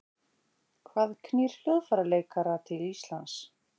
Hvað knýr hljóðfæraleikara til Íslands?